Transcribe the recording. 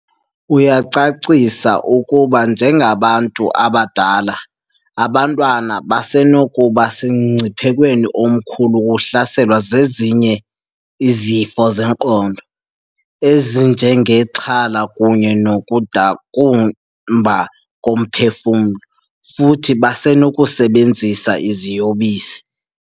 Uyacacisa ukuba njengabantu abadala, aba bantwana basenokuba semngciphekweni omkhulu wokuhlaselwa zezinye izifo zengqondo, ezinjengexhala kunye nokudakumba komphefumlo, futhi basenokusebenzisa iziyobisi.